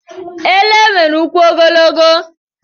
Ele nwere ụkwụ ogologo.